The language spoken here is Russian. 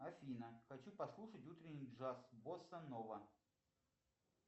афина хочу послушать утренний джаз босанова